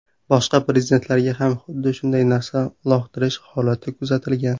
Boshqa prezidentlarga ham xuddi shunday narsa uloqtirish holati kuzatilgan.